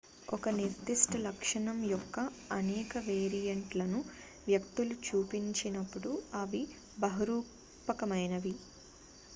ఒక నిర్ధిష్ట లక్షణం యొక్క అనేక వేరియెంట్ లను వ్యక్తులు చూపించినప్పుడు అవి బహురూపకమైనవి